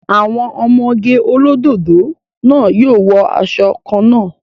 Àwọn ọmọge olódòdó náà yóò wọ asọ kan náà